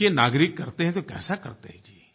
देखिये नागरिक करते हैं तो कैसा करते हैं जी